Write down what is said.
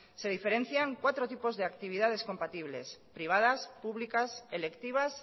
se diferencia cuatros tipos de actividades compatibles privadas públicas electivas